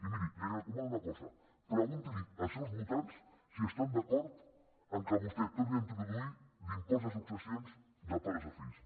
i miri li recomano una cosa pregunti als seus votants si estan d’acord que vostè torni a introduir l’impost de successions de pares a fills